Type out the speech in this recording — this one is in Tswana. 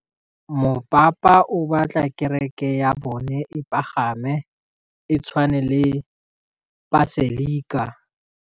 Mopapa o batla kereke ya bone e pagame, e tshwane le paselika.